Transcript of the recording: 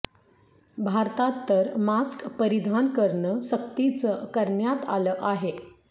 भारतात तर मास्क परिधान करणं सक्तीचं करण्यात आलं आहे